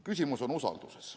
Küsimus on usalduses.